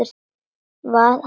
Hvað hafði gerst?